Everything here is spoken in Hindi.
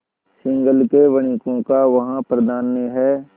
सिंहल के वणिकों का वहाँ प्राधान्य है